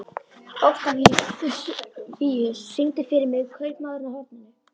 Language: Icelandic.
Oktavíus, syngdu fyrir mig „Kaupmaðurinn á horninu“.